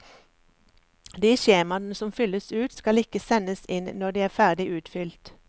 De skjemaene som fylles ut, skal ikke sendes inn når de er ferdig utfylt.